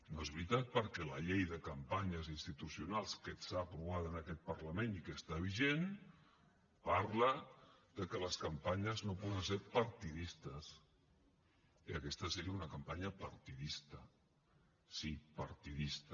no és veritat perquè la llei de campanyes institucionals que està aprovada en aquest parlament i que està vigent parla de que les campanyes no poden ser partidistes i aquesta seria una campanya partidista sí partidista